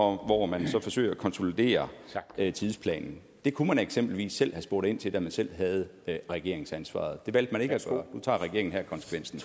hvor man forsøger at konsolidere tidsplanen det kunne man eksempelvis selv har spurgt ind til da man selv havde regeringsansvaret det valgte man ikke at gøre nu tager regeringen her konsekvensen